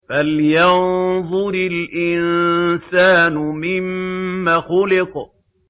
فَلْيَنظُرِ الْإِنسَانُ مِمَّ خُلِقَ